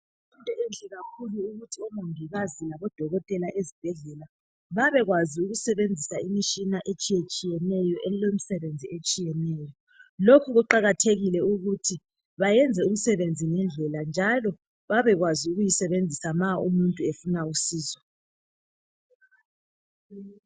Into enhle kakhulu ukuthi omongikazi labodokotela ezibhedlela babekwazi ukusebenzisa imitshina etshiyeneyo elomsebenzi otshiyeneyo. Lokhu kuqakathekile ukuthi bayenze umsebenzi ngendlela njalo babekwazi ukuyisebenzisa ma umuntu efuna usizo.